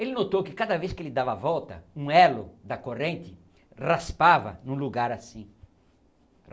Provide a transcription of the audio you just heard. Ele notou que cada vez que ele dava a volta, um elo da corrente raspava em um lugar assim.